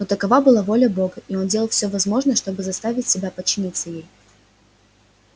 но такова была воля бога и он делал всё возможное чтобы заставить себя подчиниться ей